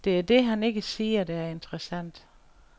Det er det, han ikke siger, der er interessant.